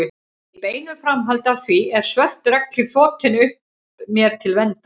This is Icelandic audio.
Í beinu framhaldi af því er svört regnhlíf þotin upp mér til verndar.